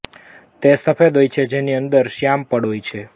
તે સફેદ હોય છે જેની અંદર શ્યામ પડ હોય છે